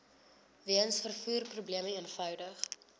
weens vervoerprobleme eenvoudig